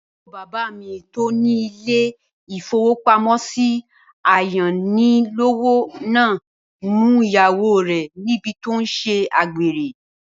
Àbúrò bàbá mi tó ní ilé-ìfowópamọ́sí ayánilówó náà mú ìyàwó rẹ̀ níbi tí ó tí n ṣe àgbèrè